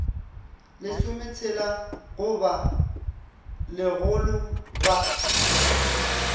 lesometshela go ba lekgolo ba